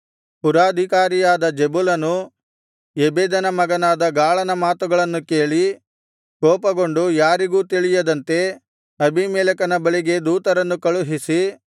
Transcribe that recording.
ಪುರಾಧಿಕಾರಿಯಾದ ಜೆಬುಲನು ಎಬೆದನ ಮಗನಾದ ಗಾಳನ ಮಾತುಗಳನ್ನು ಕೇಳಿ ಕೋಪಗೊಂಡು ಯಾರಿಗೂ ತಿಳಿಯದಂತೆ ಅಬೀಮೆಲೆಕನ ಬಳಿಗೆ ದೂತರನ್ನು ಕಳುಹಿಸಿ